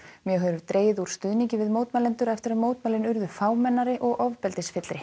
mjög hefur dregið úr stuðningi við mótmælendur eftir að mótmælin urðu fámennari og ofbeldisfyllri